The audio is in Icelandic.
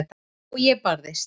Og ég barðist.